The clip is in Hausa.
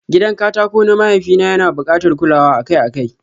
Gidan katako na mahaifi na yana bukatar kulawa akai-akai.